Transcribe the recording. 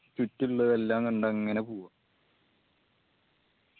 ചുറ്റുള്ളത് എല്ലാം കണ്ട് അങ്ങന പോവാ